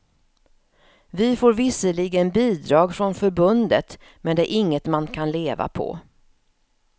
Vi får visserligen bidrag från förbundet men det är inget man kan leva på.